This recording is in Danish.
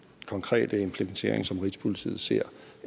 konkrete implementering som rigspolitiet ser